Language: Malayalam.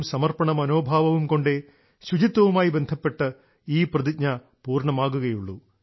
സമർപ്പണ മനോഭാവവും കൊണ്ടേ ശുചിത്വവുമായി ബന്ധപ്പെട്ട് ഈ പ്രതിജ്ഞ പൂർണ്ണമാകുകയുള്ളൂ